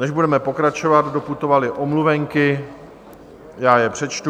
Než budeme pokračovat, doputovaly omluvenky, já je přečtu.